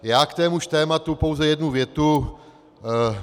Já k témuž tématu pouze jednu větu.